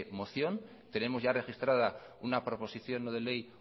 moción tenemos ya registrada una proposición no de ley